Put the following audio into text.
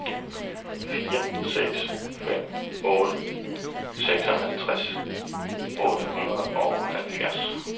fire seks fem otte seksogtres otte hundrede og halvfjerds